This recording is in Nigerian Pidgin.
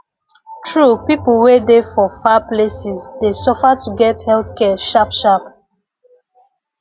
true people wey dey for far places dey suffer to get health care sharp sharp